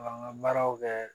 An ka baaraw kɛ